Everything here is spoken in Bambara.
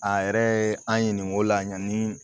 A yɛrɛ ye an ɲininko la yanni